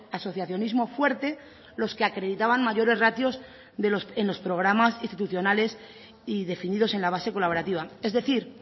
asociacionismo fuerte los que acreditaban mayores ratios en los programas institucionales y definidos en la base colaborativa es decir